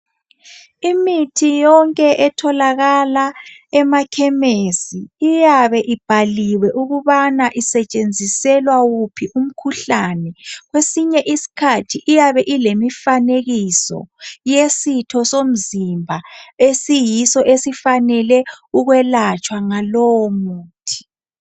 Imithi yonke etholakala emakhemesi, iyabe ibhaliwe ukubana isetshenziselwa wuphi umkhuhlane. Kwesinye isikhathi iyabe ilemifanekiso yesitho somzimba esiyiso esifanele ukwelatshwa ngalowo muthi.